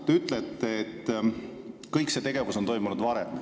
Te ütlete, et see tegevus on toimunud ka varem.